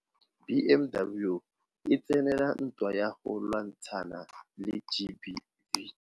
BMW e tsenela ntwa ya go lwantshana le GBV.